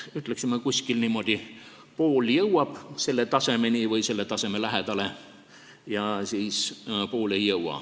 Võib öelda, et umbes pool jõuab sellele tasemele või selle lähedale ja pool ei jõua.